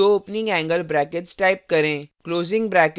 दो opening angle brackets type करें